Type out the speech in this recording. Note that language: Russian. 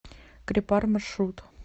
крепар маршрут